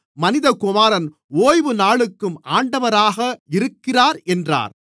மனிதகுமாரன் ஓய்வுநாளுக்கும் ஆண்டவராக இருக்கிறார் என்றார்